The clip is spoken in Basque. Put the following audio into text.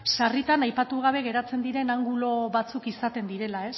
sarritan aipatu gabe geratzen diren angulo batzuk izaten direla